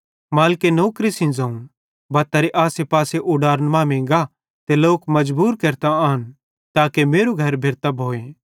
मालिके नौकरे सेइं ज़ोवं बत्तारे आसे पासे उडारन मांमेइं गा ते लोक मजबूर केरतां आन ताके मेरू घर भेरतां भोए